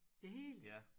Det hele?